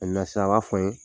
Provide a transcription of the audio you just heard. sisan a b'a fɔ an ye.